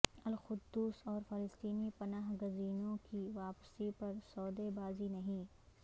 القدس اور فلسطینی پناہ گزینوں کی واپسی پر سودے بازی نہیں